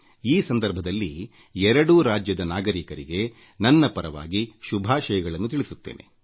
ಈ ಸಂದರ್ಭದಲ್ಲಿ ಎರಡೂ ರಾಜ್ಯದ ಜನತೆಗೆ ನನ್ನ ಪರವಾಗಿ ಶುಭಾಶಯಗಳನ್ನು ಸಲ್ಲಿಸುತ್ತೇನೆ